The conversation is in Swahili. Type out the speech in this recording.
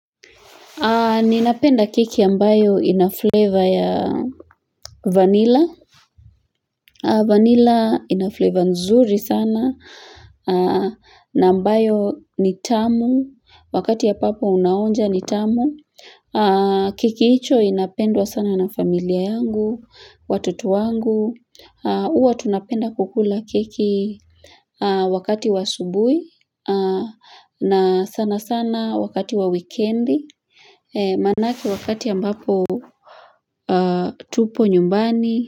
Ninapenda keki ambayo inafleva ya vanilla. Vanilla inafleva nzuri sana na ambayo nitamu. Wakati ambapo unaonja nitamu. Kekihicho inapendwa sana na familia yangu, watoto wangu. Huwa tunapenda kukula keki wakati wa subuhi na sana sana wakati wa weekendi, maanake wakati ambapo tupo nyumbani.